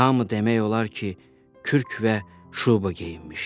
Hamı demək olar ki, kürk və şuba geyinmişdi.